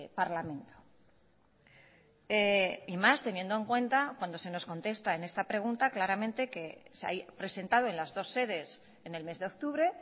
parlamento y más teniendo en cuenta cuando se nos contesta en esta pregunta claramente que se ha presentado en las dos sedes en el mes de octubre